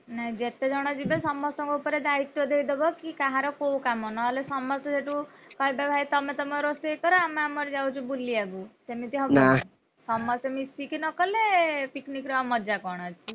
ନାଇଁ ଯେତେ ଜଣ ଯିବେ ସମସ୍ତଙ୍କ ଉପରେ ଦାୟିତ୍ୱ ଦେଇଦବ କି କାହାର କୋଉ କାମ ନହେଲେ ସମସ୍ତେ ସେଠୁ, କହିବେ ଭାଇ ତମେ ତମର ରୋଷେଇକର ଆମେ ଆମର ଯାଉଚୁ ବୁଲିଆକୁ ସେମିତି, ହବନି ସମସ୍ତେ ମିଶିକି ନକଲେ picnic ର ଆଉ ମଜା କଣ ଅଛି!